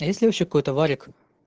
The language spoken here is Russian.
а есть ли вообще какой-то варик